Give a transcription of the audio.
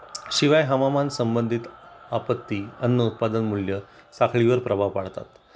शिवाय हवामान संबंधित आपत्ती, अन्न उत्पादन मूल्य साखळी वर प्रभाव पाडतात